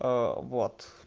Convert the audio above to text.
вот